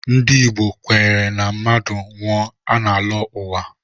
Ndị Igbo kwenyere na mmadụ nwụọ, ọ na-alọ uwa